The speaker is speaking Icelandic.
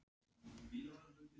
En kom þetta Aroni Elís á óvart?